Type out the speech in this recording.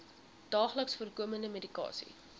daagliks voorkomende medikasie